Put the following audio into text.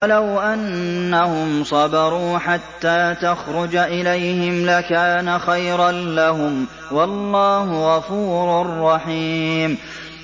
وَلَوْ أَنَّهُمْ صَبَرُوا حَتَّىٰ تَخْرُجَ إِلَيْهِمْ لَكَانَ خَيْرًا لَّهُمْ ۚ وَاللَّهُ غَفُورٌ رَّحِيمٌ